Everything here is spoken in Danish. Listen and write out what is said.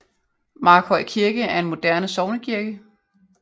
Mørkhøj Kirke er en moderne sognekirke